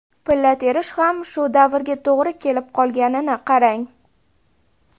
Pilla terish ham shu davrga to‘g‘ri kelib qolganini qarang.